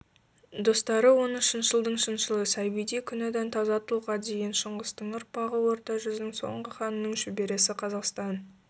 достары оны шыншылдың шыншылы сабидей күнәдән таза тұлғадеген шыңғыстың ұрпағы орта жүздің соңғы ханының шөбересі қазақстан